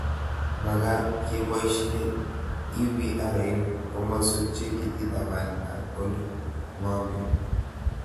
Magat kepoishe IVR eng' komaswek che kikitapan ak ole ng'omen